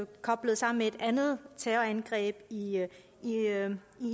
koblet sammen med et andet terrorangreb i